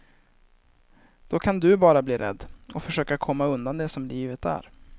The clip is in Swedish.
Då kan du bara bli rädd, och försöka komma undan det som livet är.